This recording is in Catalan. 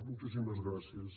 moltíssimes gràcies